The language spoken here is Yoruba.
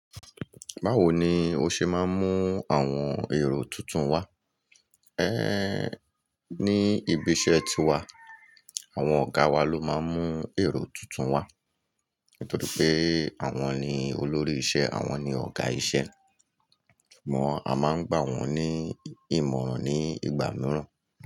Báwo ni o ṣe máa ń mú àwọn èrò tuntun wá? É ní ibi iṣẹ́ ti wa, àwọn ọ̀gá wa ló máa ń mú èrò tuntun wá nítorí pé àwọn ni olórí ìṣẹ́ àwọn ni ọ̀gá ìṣẹ́. Ṣùgbọ́n a máa ń gbà wọ́n ní ìmọ̀ràn ní ìgbà mìíràn.